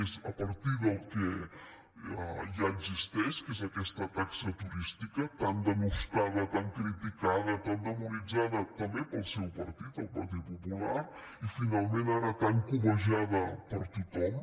és a partir del que ja existeix que és aquesta taxa turística tan blasmada tan criticada tan demonitzada també pel seu partit el partit popular i finalment ara tan cobejada per tothom